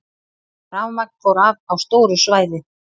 Rafmagn fór af á stóru svæði